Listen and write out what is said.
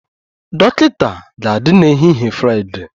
Dọkịta ga-adị n'ehihie Fraịdee